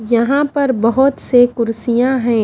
यहां पर बहुत से कुर्सियां हैं।